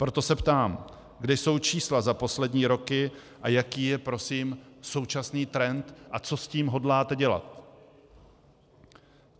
Proto se ptám: Kde jsou čísla za poslední roky a jaký je prosím současný trend a co s tím hodláte dělat?